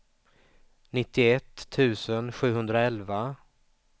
nittioett tusen sjuhundraelva